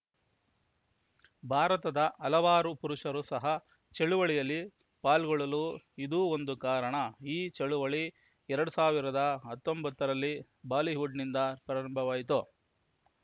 ಭಾರತದ ಹಲವಾರು ಪುರುಷರೂ ಸಹ ಚಳವಳಿಯಲ್ಲಿ ಪಾಲ್ಗೊಳ್ಳಲು ಇದೂ ಒಂದು ಕಾರಣ ಈ ಚಳವಳಿ ಎರಡ್ ಸಾವಿರದ ಹತ್ತೊಂಬತ್ತರಲ್ಲಿ ಹಾಲಿವುಡ್‌ನಿಂದ ಪ್ರಾರಂಭವಾಯಿತು